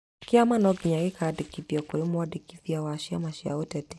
Kĩama no nginya kĩandĩkithio kũrĩ mwandĩkithia wa ciama cia ũteti